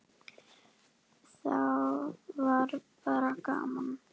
Þá var bara gaman.